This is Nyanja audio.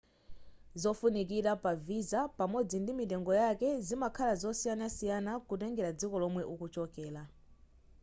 zofunikira pa visa pamodzi ndi mitengo yake zimakhala zosiyanasiyana kutengera dziko lomwe ukuchokera